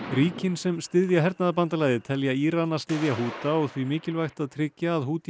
ríkin sem styðja hernaðarbandalagið telja Írana styðja Húta og því mikilvægt að tryggja að